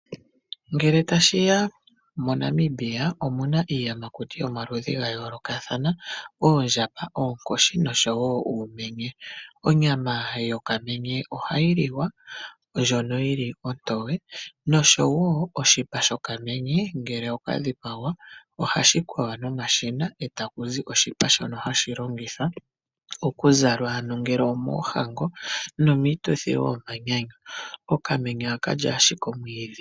Ngele tashiya moNamibia omuna iiyamakutu yomaludhi gayoolokathana oondjamba, oonkoshi noshowoo uumenye. Onyama yokamenye ohayi liwa ndjono yili ontowe noshowoo oshipa shokamenye ngele okadhipagwa ohashi kwewa nomashina eta kuzi oshipa shono hashi longithwa okuzalwa ano ngele omoohango nomiituthi woo yomanyanyu. Okamenye aakalyi ashike omwiidhi.